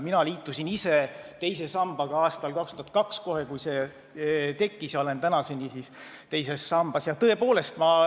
Mina liitusin teise sambaga aastal 2002 – kohe, kui see tekkis – ja olen tänaseni teises sambas.